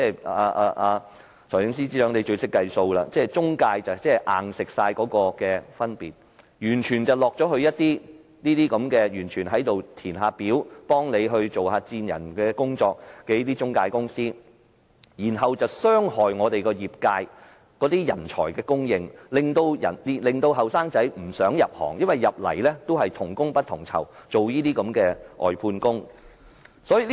財政司司長最懂得計數，讓中介公司"硬食"了 IT 員工的薪金，錢完全落入那些負責填表、幫政府做薦人的中介公司，卻傷害了業界的人才供應，令年輕人不想入行，因為入行等於做同工不同酬的外判工。